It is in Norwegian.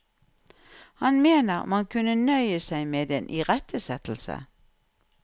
Han mener man kunne nøye seg med en irettesettelse.